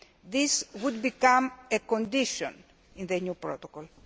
This would become a condition in the new protocol.